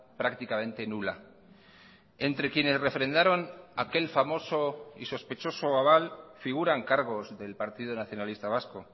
prácticamente nula entre quienes refrendaron aquel famoso y sospechoso aval figuran cargos del partido nacionalista vasco